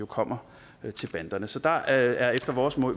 kommer til banderne så der er efter vores